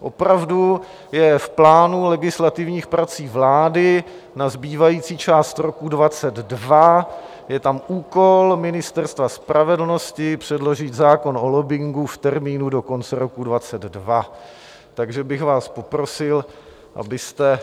Opravdu je v plánu legislativních prací vlády na zbývající část roku 2022, je tam úkol Ministerstva spravedlnosti předložit zákon o lobbingu v termínu do konce roku 2022, takže bych vás poprosil, abyste